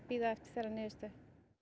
bíða eftir þeirra niðurstöðu